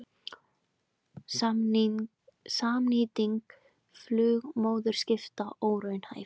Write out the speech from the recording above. Samnýting flugmóðurskipa óraunhæf